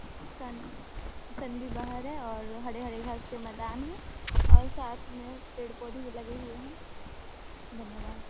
सन sun भी बाहर है और हरे-हरे घास के मैदान है और साथ में पेड़-पौधे भी लगे हुए हैं धन्यवाद ।